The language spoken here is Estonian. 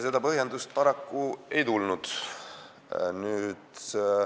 Seda põhjendust paraku ei tulnud.